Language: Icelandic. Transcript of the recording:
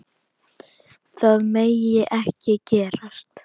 Það megi ekki gerast.